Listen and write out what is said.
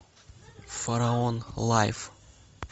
фараон лайв